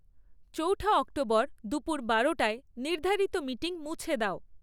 চৌঠা অক্টোবর দুপর বারোটায় নির্ধারিত মিটিং মুছে দাও